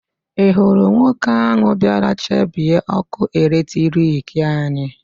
Ị hụrụ nwoke ahụ bịara chabie ọ́kụ́ eletrik anyị?